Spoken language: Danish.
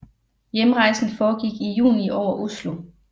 Hjemrejsen foregik i juni over Oslo